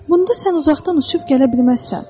Bunda sən uzaqdan uçub gələ bilməzsən.